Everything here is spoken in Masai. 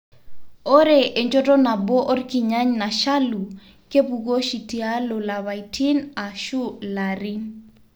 Ore enchoto nabo onkirnyany nashalu kepuku oshi tialo lapaitin ashu larin.